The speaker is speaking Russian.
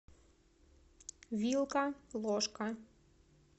вилка ложка